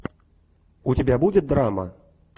у тебя будет драма